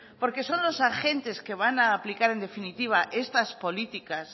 porque son los agentes que van a aplicar en definitiva estas políticas